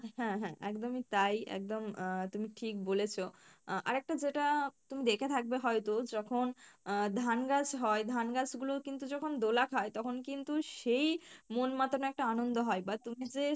হ্যাঁ হ্যাঁ, একদমই তাই একদম আহ তুমি ঠিক বলেছো, আহ আর একটা যেটা তুমি দেখে থাকবে হয়তো যখন আহ ধান গাছ হয় ধান গাছ গুলো কিন্তু যখন দোলা খায় তখন কিন্তু সেই মন মাতানো একটা আনন্দ হয় বা তুমি যে